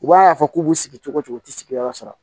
U b'a fɔ k'u b'u sigi cogo o cogo u tɛ sigiyɔrɔ sɔrɔ